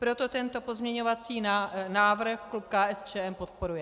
Proto tento pozměňovací návrh klub KSČM podporuje.